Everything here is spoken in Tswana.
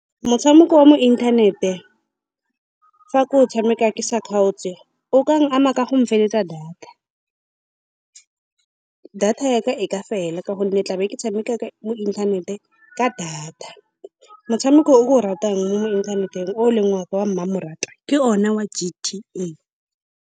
Motshameko wa mo inthanete, fa ke o tshameka ke sa kgaotse, o ka nkama ka go mfeletsa data. Data ya ka e ka fela ka gonne ke tla be ke tshameka mo inthaneteng ka data. Motshameko o ke o ratang mo inthaneteng, o e leng wa ka wa mmamoratwa, ke one wa G_T_A.